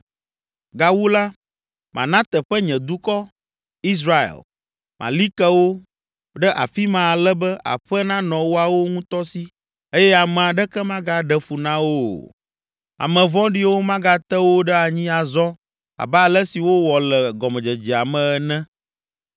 Gawu la, mana teƒe nye dukɔ, Israel, mali ke wo ɖe afi ma ale be aƒe nanɔ woawo ŋutɔ si eye ame aɖeke magaɖe fu na wo o. Ame vɔ̃ɖiwo magate wo ɖe anyi azɔ abe ale si wowɔ le gɔmedzedzea me ene